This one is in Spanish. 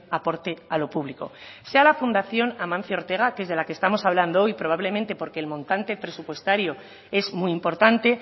aporte a lo público sea la fundación amancio ortega que es de la que estamos hablando hoy probablemente porque el montante presupuestario es muy importante